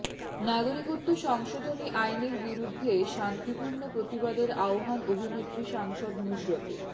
নাগরিকত্ব সংশোধনী আইনের বিরুদ্ধে শান্তিপূর্ণ প্ৰতিবাদের আহ্বান অভিনেত্ৰী সাংসদ নুসরতের